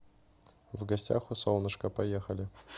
в гостях у солнышка поехали